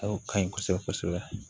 Awɔ ka ɲi kosɛbɛ kosɛbɛ